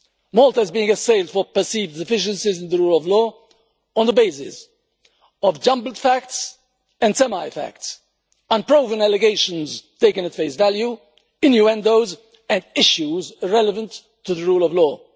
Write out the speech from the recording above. Malta is being assailed for perceived deficiencies in the rule of law on the basis of jumbled facts and semi-facts, unproven allegations taken at face value, innuendos and issues irrelevant to the rule of law.